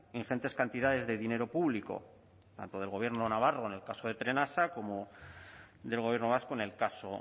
ingentes cantidades de dinero público tanto el gobierno navarro en el caso de trenasa como del gobierno vasco en el caso